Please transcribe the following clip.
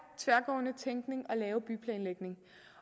tværgående tænkning at lave byplanlægning